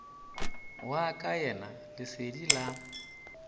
wa ka yena lesedi la